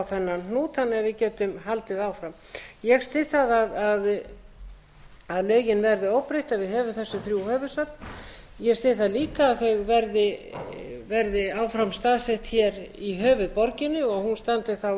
að við getum haldið áfram ég styð það að lögin verði óbreytt að við höfum þessi þrjú höfuðsöfn ég styð það líka að þau verði áfram staðsett í höfuðborginni og hún standi þá